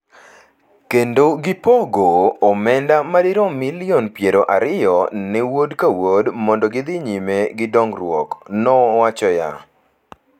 kendo gipogo omenda madirom milion piero ariyo ne Wuod ka Wuod mondo gidhi nyime gi dongruok,” nowachoya.